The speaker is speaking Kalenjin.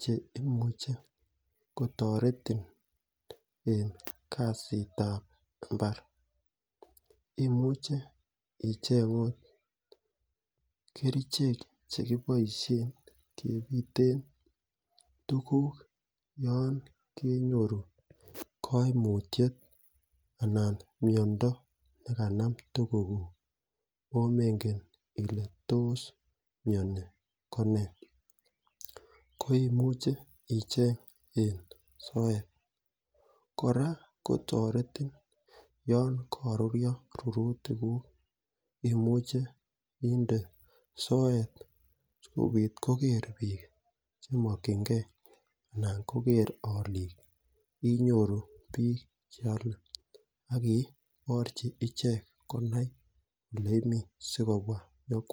che imuche kotoretin en kasitab imbar imuchei icheng' akot kerichek chekiboishen kebiten tukuk yon kenyoru kaimutyet anan miyondo nekanam tukukuk aomengen ile tos miyoni ko nee ko imuche icheng' en soet kora kotoretin yon karuriyo rurutikuk imuche inde soet sikobit koker biik chemokchingei anan koker olik inyoru biik cheolei akiborchi ichek konai ole imi sikobwa